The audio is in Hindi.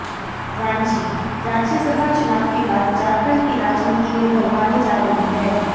रांचीः राज्य सभा चुनाव के बाद झारखंड की राजनीति में गरमाने जा रही है